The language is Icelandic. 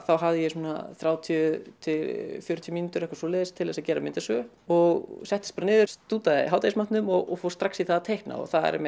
þá hafði ég svona þrjátíu til fjörutíu mínútur eitthvað svoleiðis til þess að gera myndasögu og settist bara niður stútaði hádegismatnum og fór strax í það að teikna